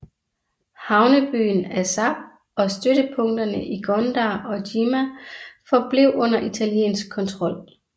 Havnebyen Assab og støttepunkterne i Gondar og Jimma forblev under italiensk kontrol